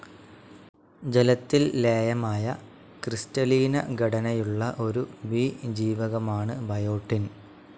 ജലത്തിൽ ലേയമായ, ക്രിസ്റ്റലീനഘടനയുള്ള ഒരു ബി ജീവകമാണ് ബയോട്ടിന്.